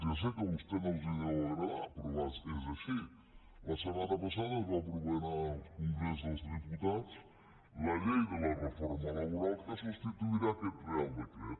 ja sé que a vostès no els deu agradar però és així la setmana passada es va aprovar en el congrés dels diputats la llei de la reforma laboral que substituirà aquest reial decret